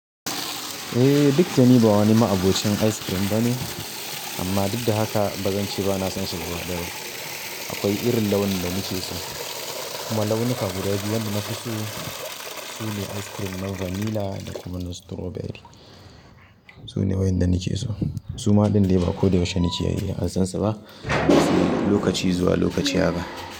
Eh, duk da ni ba wani ma'abocin ice cream bane amma duk da haka ba zan ce ba na san shi gwadawa. Akwai irin launin da nake so kuma launuka guda biyu da na fi so su ne ice cream na vanilla da kuma na strawberry. Su ne waƴanda nike so. Su maɗin dai ba ko da yaushe nake iya yi ansan su ba, ba su lokaci zuwa lokaci ba.